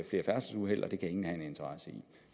flere færdselsuheld og det kan ingen have en interesse i